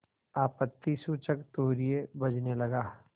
आपत्तिसूचक तूर्य बजने लगा